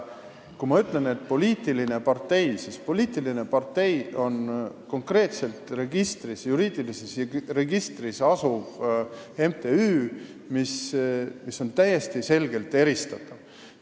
Kui ma räägin poliitilisest parteist, siis see on konkreetne juriidilises registris asuv MTÜ, mis on täiesti selgelt eristatav.